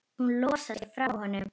Hún losar sig frá honum.